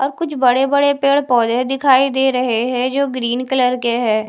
और कुछ बड़े बड़े पेड़ पोधे दिखाई दे रहे है जो ग्रीन कलर के है।